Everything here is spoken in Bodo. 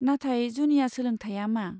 नाथाय जुनिया सोलोंथाया मा?